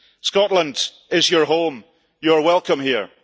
Scotland is your home, you are welcome here.